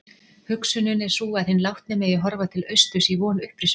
Hugsunin er sú að hinn látni megi horfa til austurs í von upprisunnar.